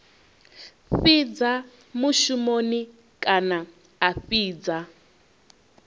fhidza mushumoni kana a fhidza